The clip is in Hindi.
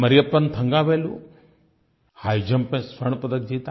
मरियप्पन थन्गावेलु हिघ जंप में स्वर्ण पदक जीता